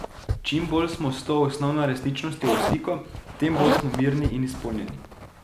Čim bolj smo s to osnovno resničnostjo v stiku, tem bolj smo mirni in izpolnjeni.